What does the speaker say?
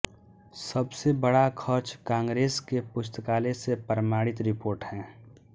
सबसे बड़ा खर्च कांग्रेस के पुस्तकालय से प्रमाणित रिपोर्ट है